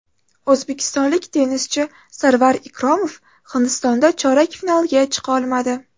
O‘zbekistonlik tennischi Sarvar Ikromov Hindistonda chorak finalga chiqa olmadi.